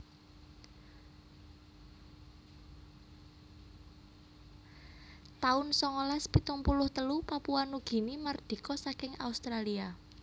taun songolas pitung puluh telu Papua Nugini mardika saking Australia